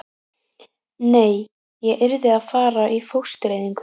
Nei, ég yrði að fara í fóstureyðingu.